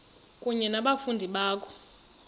kunye nabafundi bakho